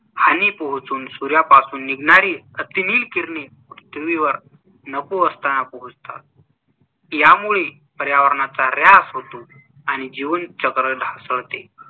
हानी पोहचून सूर्यापासून निघणारी अतिनील किरणे पृथ्वीवर नको असताना पोहचतात. यामुळे पर्यावरणाचा ऱ्हास होतो आणि जीवनचक्र ढासळते.